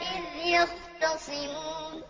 إِذْ يَخْتَصِمُونَ